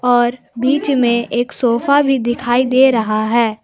और बीच में एक सोफा भी दिखाई दे रहा है।